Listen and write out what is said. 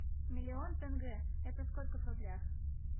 миллион тенге это сколько в рублях